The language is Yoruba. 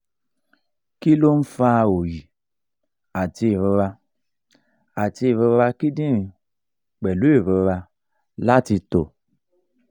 kí ló ń fa oyi ati irora ati irora kidinrin pelu irora lati to